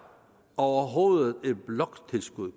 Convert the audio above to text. overhovedet et bloktilskud